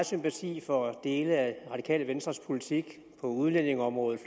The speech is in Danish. sympati for dele af radikale venstres politik på udlændingeområdet